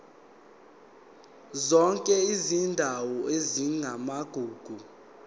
zonke izindawo ezingamagugu